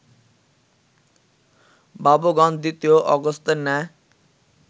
বাবুগণ দ্বিতীয় অগস্ত্যের ন্যায়